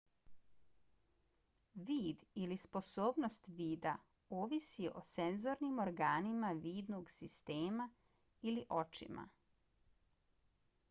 vid ili sposobnost vida ovisi o senzornim organima vidnog sistema ili očima